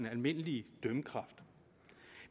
almindelige dømmekraft